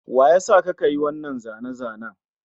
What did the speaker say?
Wa ya sa ka ka yi wannan zane-zanen?